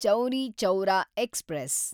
Chauri Chaura express